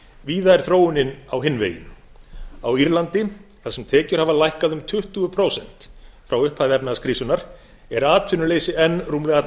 víða er þróunin á hinn veginn á írlandi þar sem tekjur hafa lækkað um tuttugu prósent frá upphafi efnahagskrísunnar er atvinnuleysi enn rúmlega